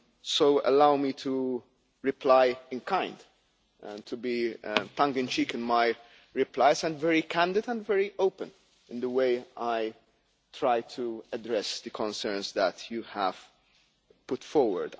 So allow me to reply in kind and to be tongue and cheek in my replies and very candid and very open in the way I try to address the concerns that you have put forward.